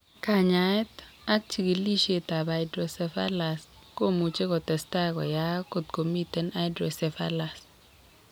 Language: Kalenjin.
Kanyaet ak chigilisiet ab hydrocephalus komuch kotestai koyaak kot komiten hydrocephalus